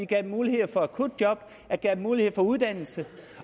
gav dem mulighed for akutjob og gav dem mulighed for uddannelse